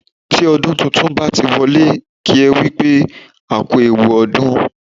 Tí ọdún tuntun bá ti wọlé, kí ẹ wípé, "a kú ewu ọdún."